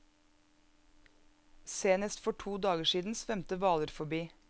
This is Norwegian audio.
Senest for to dager siden svømte hvaler forbi.